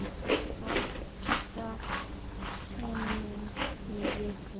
Átta sinnum í viku.